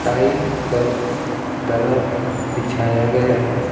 Tile पर दरा भी बिछाया गया है।